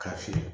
K'a fili